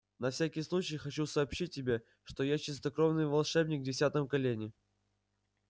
на всякий случай хочу сообщить тебе что я чистокровный волшебник в десятом колене